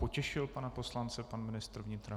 Potěšil pana poslance pan ministr vnitra?